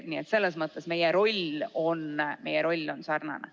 Nii et selles mõttes meie roll on sarnane.